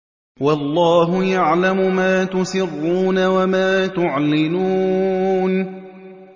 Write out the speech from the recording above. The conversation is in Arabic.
وَاللَّهُ يَعْلَمُ مَا تُسِرُّونَ وَمَا تُعْلِنُونَ